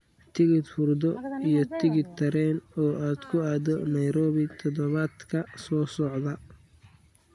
Kursi hurdo iyo tigidh tareen oo aad ku aado Nairobi toddobaadka soo socda